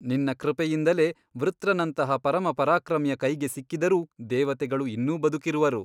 ನಿನ್ನ ಕೃಪೆಯಿಂದಲೇ ವೃತ್ರನಂತಹ ಪರಮಪರಾಕ್ರಮಿಯ ಕೈಗೆ ಸಿಕ್ಕಿದರೂ ದೇವತೆಗಳು ಇನ್ನೂ ಬದುಕಿರುವರು.